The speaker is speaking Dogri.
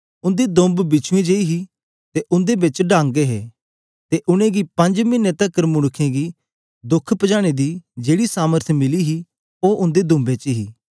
उंदी दुंब बिछुंएं जे हे ते उंदे बिच डंग हे ते उनेंगी पंज मिने तकर मनुक्खें गी दुःख पजाने दी जेकी सामर्थ मिली हे ओ उंदी दूंबें च हे